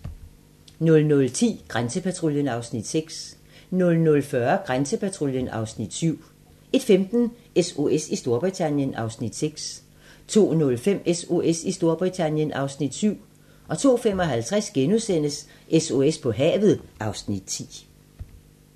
00:10: Grænsepatruljen (Afs. 6) 00:40: Grænsepatruljen (Afs. 7) 01:15: SOS i Storbritannien (Afs. 6) 02:05: SOS i Storbritannien (Afs. 7) 02:55: SOS på havet (Afs. 10)*